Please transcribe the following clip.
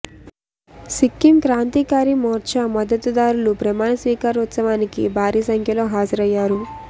సిక్కీం క్రాంతికారి మోర్చా మద్దతు దారులు ప్రమాణ స్వీకారోత్సవానికి భారీ సంఖ్యలో హాజరయ్యారు